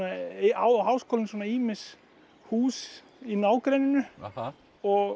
á Háskólinn ýmis hús í nágrenninu og